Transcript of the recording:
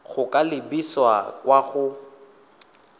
go ka lebisa kwa go